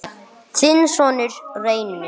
Þinn sonur, Reynir.